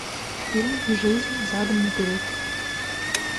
фильм жизнь задом наперед